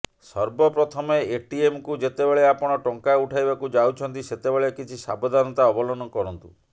ସର୍ବ ପ୍ରଥମେ ଏଟିଏମକୁ ଯେତେବେଳେ ଆପଣ ଟଙ୍କା ଉଠାଇବାକୁ ଯାଉଛନ୍ତି ସେତେବେଳେ କିଛି ସାବଧାନତା ଅବଲମ୍ବନ କରନ୍ତୁ